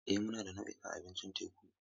Eh, muna da nau'ikan abincin teku.